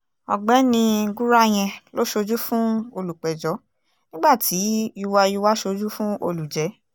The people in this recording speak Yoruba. ọ̀gbẹ́ni gúráyẹn ló ṣojú fún olùpẹ̀jọ́ nígbà tí yuwa yuwa ṣojú fún olùjẹ́